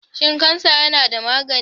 Shin kansa yana da magani?